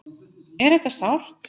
Er þetta sárt?